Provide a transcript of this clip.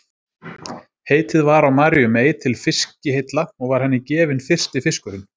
Heitið var á Maríu mey til fiskiheilla og var henni gefinn fyrsti fiskurinn.